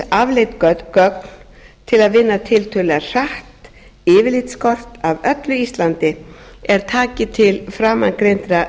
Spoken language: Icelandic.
til að vinna tiltölulega hratt yfirlitskort af öllu íslandi er taki til framangreindra